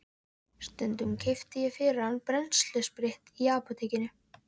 Stundum keypti ég fyrir hann brennsluspritt í apótekinu.